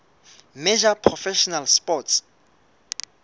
major professional sports